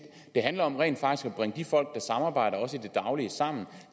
det handler om rent faktisk at bringe de folk der samarbejder også i det daglige sammen